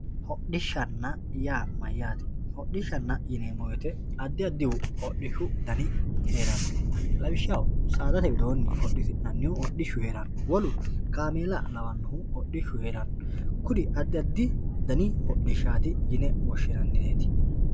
Hodhishshanna yaa mayyate ,hodhishshanna yineemmo woyte addi addihu hodhishshu dani heerano lawishshaho saadate hodhissanihu hodhishshu heerano kaameela kawanohu hodhishshu heerano kuri addi addi dani hodhishsha yine woshshinannireti.